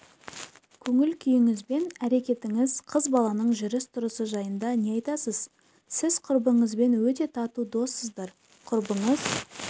көңіл-күйіңіз бен әрекетіңіз қыз баланың жүріс тұрысы жайында не айтасыз сіз құрбыңызбен өте тату доссыздар құрбыңыз